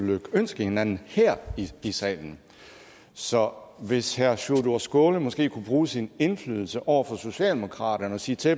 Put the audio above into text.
lykønske hinanden her i salen så hvis herre sjúrður skaale måske kunne bruge sin indflydelse over for socialdemokratiet og sige til